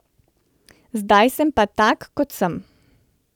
Zdaj sem pa tak, kot sem.